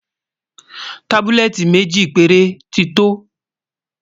tábúlẹ́tì méjì péré tí tó